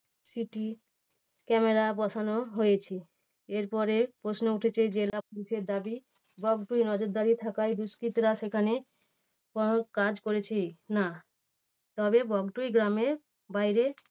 CCTV camera বসানো হয়েছে। এর পরে প্রশ্ন উঠেছে জেলা পুলিশের দাবী বগটুই নজরদারী থাকায় দুষ্কৃতীরা সেখানে প্রভাব কাজ করছে না। তবে বগটুই গ্রামের বাইরে